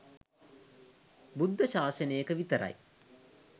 බුද්ධ ශාසනයක විතරයි